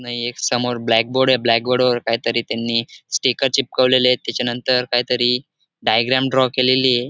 नाही एक समोर ब्लॅकबोर्ड आहे ब्लॅकबोर्ड वर काहीतरी त्यांनी स्टिकर चिपकवलेले आहे त्याच्यानंतर काहीतरी डायग्रॅम ड्रॉ केलेलीये.